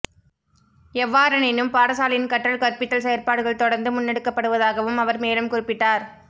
எவ்வாறெனினும் பாடசாலையின் கற்றல் கற்பித்தல் செயற்பாடுகள் தொடர்ந்து முன்னெடுக்கப்படுவதாகவும் அவர் மேலும் குறிப்பிட்டார்